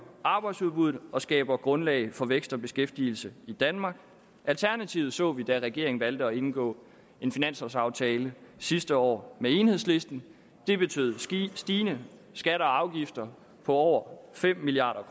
arbejdsudbuddet og skaber grundlag for vækst og beskæftigelse i danmark alternativet så vi da regeringen valgte at indgå en finanslovaftale sidste år med enhedslisten det betød stigende skatter og afgifter på over fem milliard